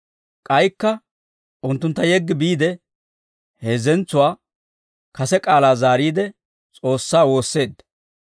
K'aykka unttuntta yeggi biide, hezentsuwaa kase k'aalaa zaariide, S'oossaa woosseedda.